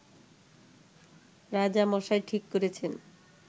রাজামশাই ঠিক করেছেন